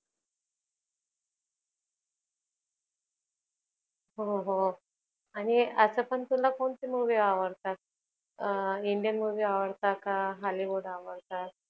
हो हो आणि असपण तुला कोणती movie आवडतात? अं Indian movie आवडतात का? hollywood आवडतात?